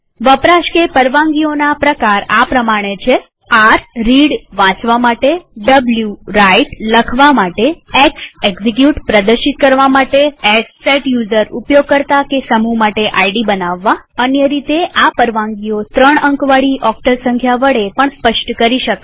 વપરાશ કે પરવાનગીઓના પ્રકાર આ પ્રમાણે છે160 r રીડ એટલે કે વાચવા માટે w રાઇટ એટલે કે લખવા માટે x એક્ઝિક્યુટ એટલે કે પ્રદર્શિત કરવા માટે s સેટ યુઝર એટલે કે ઉપયોગકર્તા કે સમૂહ માટે આઈડી બનાવવા અન્ય રીતેઆ પરવાનગીઓ ત્રણ અંકવાળી ઓક્ટલ સંખ્યા વડે પણ સ્પષ્ટ કરી શકાય